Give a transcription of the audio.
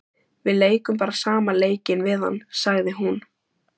Við leikum bara sama leikinn við hann, sagði hún.